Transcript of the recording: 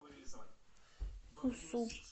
усу